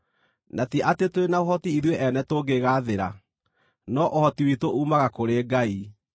Na ti atĩ tũrĩ na ũhoti ithuĩ ene tũngĩĩgaathĩra, no ũhoti witũ uumaga kũrĩ Ngai.